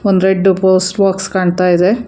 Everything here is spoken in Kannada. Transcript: ಒಂದು ರೆಡ್ ಪೋಸ್ಟ್ ಬಾಕ್ಸ್ ಕಾಣಿಸ್ತಾ ಇದೆ.